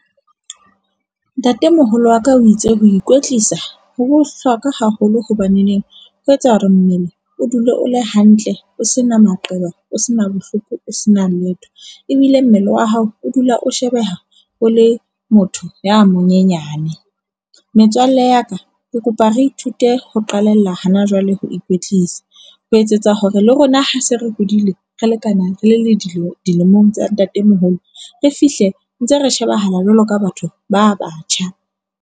Ntatemoholo wa ka o itse ho ikwetlisa ho bohlokwa haholo hobaneneng ho etsa hore mmele o dule o le hantle, o se na maqeba o sena bohloko. O sena letho. Ebile mmele wa hao o dula o shebeha o le motho ya monyenyane. Metswalle ya ka, ke kopa re ithute ho qalella hana jwale ho ikwetlisa ho etsetsa hore le rona ha se re hodile, re lekane rele le dilemo dilemong tsa ntatemoholo, re fihle ntse re shebahala jwalo ka batho ba batjha.